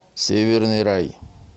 северный рай